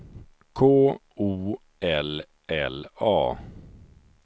K O L L A